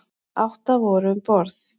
Átta voru um borð.